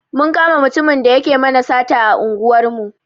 Mun kama mutumin da yake mana sata a unguwar mu.